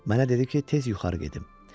Mənə dedi ki, tez yuxarı gedim.